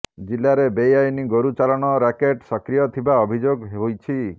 ଜିଲ୍ଲାରେ ବେଆଇନ ଗୋରୁ ଚାଲାଣ ରାକେଟ ସକ୍ରିୟ ଥିବା ଅଭିଯୋଗ ହୋଇଛି